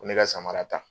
Ko ne ka samara ta